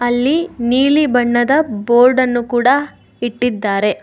ಅಲ್ಲಿ ನೀಲಿ ಬಣ್ಣದ ಬೋರ್ಡ್ ಅನ್ನು ಕೂಡ ಇಟ್ಟಿದ್ದಾರೆ.